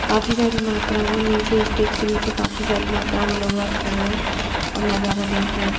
काफी सारी मात्रा में नीचे स्टेज के नीचे काफी सारी मात्रा में लोग वहां खड़े हुए हैं और नजारा देख रहे हैं।